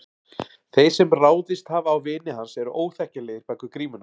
Þeir sem ráðist hafa á vini hans eru óþekkjanlegir bak við grímurnar.